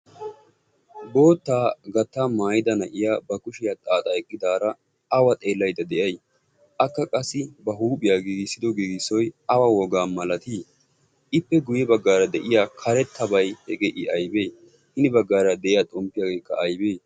bootaa xaaxxa maayada eqqida na'iya awa xeelayda de'ay? akka ba huuphiya giigisido giigisoy awa wogaa malatii? ippe guye bagaara de'iyabay i aybee?